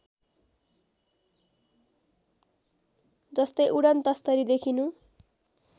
जस्तै उडनतस्तरी देखिनु